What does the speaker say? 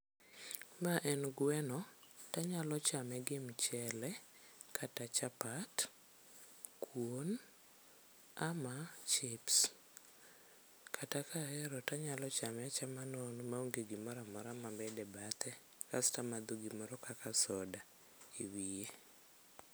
Ma en gweno tanyalo chame gi mchele, kata chapat, kuon ama chips. Kata kahero tanyalo chame achama nono maonge gimoro amora mamedo e bathe kasto amadho gimoro kaka soda e wiye.